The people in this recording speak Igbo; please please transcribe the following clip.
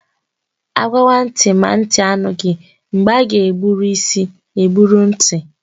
Agwawa nti ma nti anoghi, mgbe aga egburu isi egburu nti